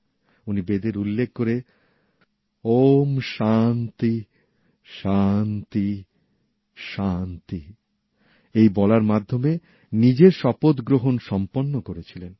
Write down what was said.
উনি বেদের উল্লেখ করে ওম শান্তি শান্তি শান্তি বলার মাধ্যমে নিজের শপথগ্রহণ সম্পন্ন করেছিলেন